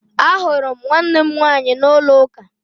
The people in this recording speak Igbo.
Ahụrụ m nwannem nwaanyị n'ụlọ uka